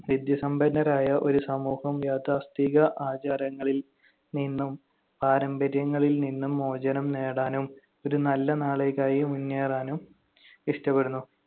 വിദ്യാസമ്പന്നരായ ഒരു സമൂഹം യാഥാസ്ഥിതിക ആചാരങ്ങളിൽ നിന്നും പാരമ്പര്യങ്ങളിൽ നിന്നും മോചനം നേടാനും ഒരു നല്ല നാളെയിലേക്ക് മുന്നേറാനും ഇഷ്ടപ്പെടുന്നു